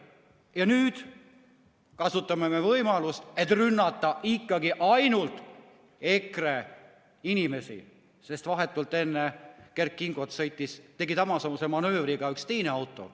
Ja nüüd kasutame me võimalust, et rünnata ikkagi ainult EKRE inimesi, sest vahetult enne Kert Kingot tegi samasuguse manöövri ka üks teine auto.